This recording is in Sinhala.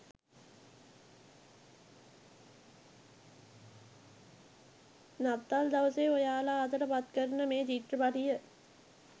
නත්තල් දවසේ ඔයාලා අතට පත් කරන මේ චිත්‍රපටිය